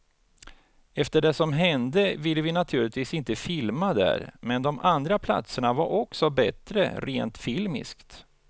Efter det som hände ville vi naturligtvis inte filma där, men de andra platserna var också bättre rent filmiskt.